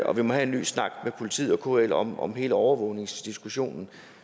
at vi må have en ny snak med politiet og kl om om hele overvågningsdiskussionen